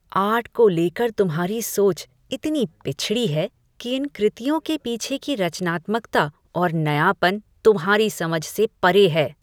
Art को लेकर तुम्हारी सोच इतनी पिछड़ी है कि इन कृतियों के पीछे की रचनात्मकता और नयापन तुम्हारी समझ से परे हैं।